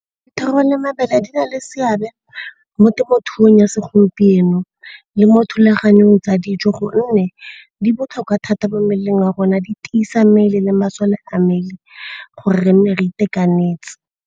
Dithoro le mabele di na le seabe mo temothuong ya segompieno le mo thulaganyong tsa dijo gonne di botlhokwa thata mo mmeleng wa rona, di tisa mmele le masole a mmele gore re nne re itekanetse.